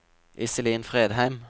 Iselin Fredheim